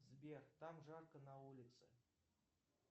сбер там жарко на улице